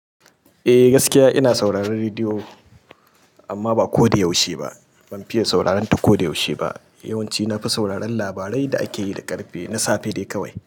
Eh gaskiya ina sauraron rediyo amma ba ko da yaushe ba. Ban fiye sauraran ta ko da yaushe ba. Yawanci na fi sauraran labarai da akeyi da ƙarfe na safe dai kawai.